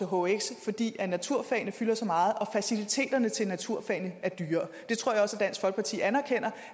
hhx fordi naturfagene fylder så meget og faciliteterne til naturfagene er dyrere jeg tror også dansk folkeparti anerkender